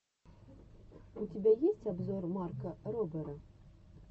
у тебя есть обзор марка робера